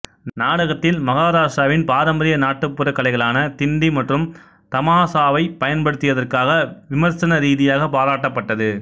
நாடகத்தில் மகாராட்டிராவின் பாரம்பரிய நாட்டுப்புறக் கலைகளான திண்டி மற்றும் தமாசாவைப் பயன்படுத்தியதற்காக விமர்சன ரீதியாக பாராட்டப்பட்டது